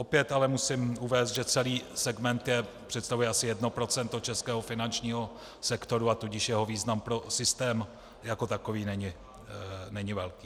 Opět ale musím uvést, že celý segment představuje asi 1 % českého finančního sektoru, a tudíž jeho význam pro systém jako takový není velký.